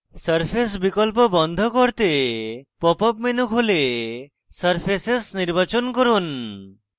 surface বিকল্প বন্ধ করতে pop up menu খুলে surfaces নির্বাচন করুন